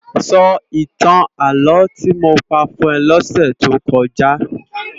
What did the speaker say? Sò itán álò ti mó pá fún è lòsè tó kòjá